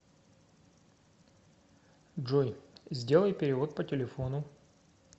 джой сделай перевод по телефону